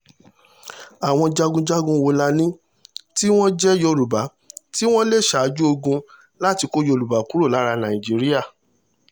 àwọn jagunjagun wo la ní tí wọ́n jẹ́ yorùbá tí wọ́n lé ṣáájú ogun láti kó yorùbá kúrò lára nàìjíríà